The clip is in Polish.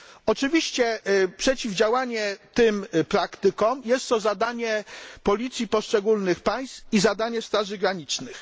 Oczywiście przeciwdziałanie tym praktykom jest zadaniem policji poszczególnych państw i zadaniem straży granicznych.